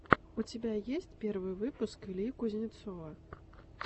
у тебя есть первый выпуск ильи кузнецова